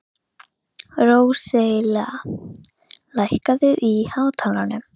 Róselía, lækkaðu í hátalaranum.